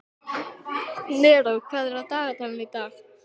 Neró, hvað er á dagatalinu í dag?